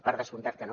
per descomptat que no